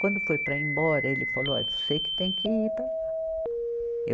Quando foi para ir embora, ele falou, ó, você que tem que ir para lá. eu